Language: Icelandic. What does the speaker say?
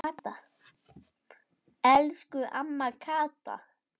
Elsku amma Kata.